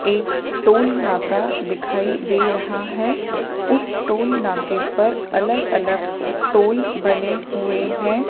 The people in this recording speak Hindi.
एक टोल नाका दिखाई दे रहा है उस टोल नाके पर अलग अलग टोल बने हुए हैं।